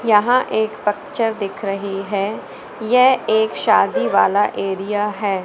यहां एक पक्चर दिख रही है यह एक शादी वाला एरिया है।